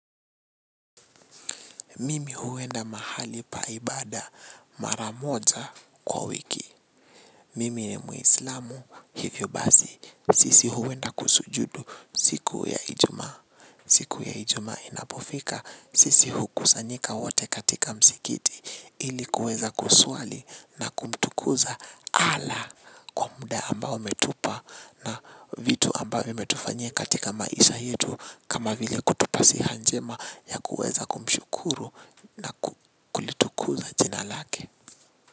Mimi huenda mahali pa ibada mara moja kwa wiki. Mimi ni muislamu hivyo basi. Sisi huwenda kusujudu siku ya ijumaa. Siku ya ijumaa inapofika sisi hukusanyika wote katika msikiti. Ili kuweza kuswali na kumtukuza Allah kwa muda ambao ametupa. Na vitu ambavyo ametufanye katika maisha yetu kama vile kutupa siha njema ya kuweza kumshukuru na kulitukuza jina Lake.